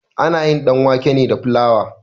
Ana yin ɗanwake ne da flawa.